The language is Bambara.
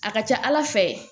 A ka ca ala fɛ